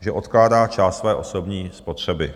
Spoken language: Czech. že odkládá část své osobní spotřeby.